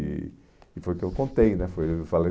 E e foi o que eu contei né, foi eu